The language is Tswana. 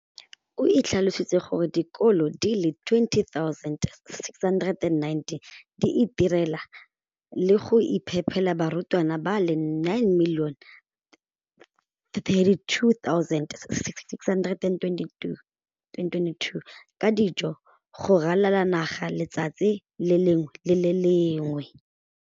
O tlhalositse gore dikolo di le 20 619 di itirela le go iphepela barutwana ba le 9 032 622 ka dijo go ralala naga letsatsi le lengwe le le lengwe.